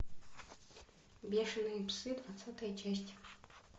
бешеные псы двадцатая часть